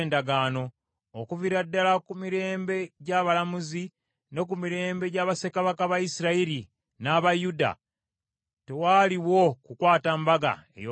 Okuviira ddala ku mirembe gy’abalamuzi, ne ku mirembe gya bassekabaka ba Isirayiri n’aba Yuda, tewaaliwo kukwata Mbaga ey’Okuyitako.